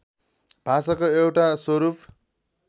भाषाको एउटा स्वरूप